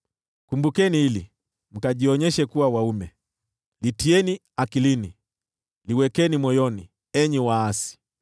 “Kumbukeni hili, litieni akilini, liwekeni moyoni, enyi waasi.